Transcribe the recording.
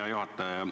Hea juhataja!